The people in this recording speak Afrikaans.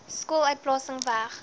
skool uitplasing weg